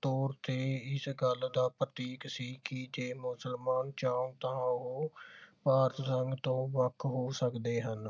ਤੌਰ ਤੇ ਇਸ ਗੱਲ ਦਾ ਪ੍ਰਤੀਕ ਸੀ ਕਿ ਜੇ ਮੁਸਲਮਾਨ ਚਾਹੁਣ ਤਾਂ ਉਹ ਭਾਰਤ ਸੰਘ ਤੋਂ ਵੱਖ ਹੋ ਸਕਦੇ ਹਨ